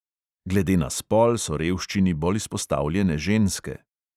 Glede na spol so revščini bolj izpostavljene ženske.